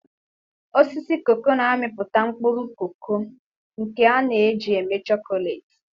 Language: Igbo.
Osisi cacao na-amịpụta mkpụrụ koko, nke a na-eji eme chocolate.